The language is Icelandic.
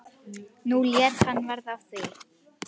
Nú lét hann verða af því.